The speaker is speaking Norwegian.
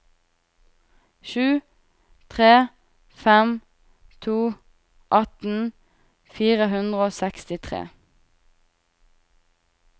sju tre fem to atten fire hundre og sekstitre